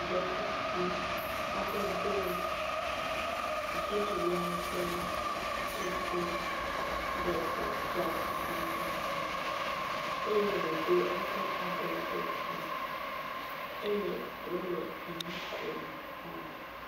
Ɖetugbi aɖe do dziɖula ƒe kuku ɖe ta, fiakuku ɖe ta eye wòdo eƒe abɔwo ɖe dzi eye wòle enu kom haa.